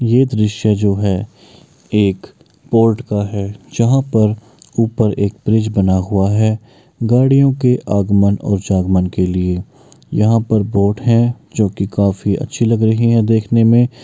ये दृश्य जो है एक पोर्ट का है जहां पर ऊपर एक ब्रिज बना हुआ है। गाड़ियों के आगमन और जागमन के लिए यहां पर बोट हैं जोकि काफी अच्छी लग रही हैं देखने में।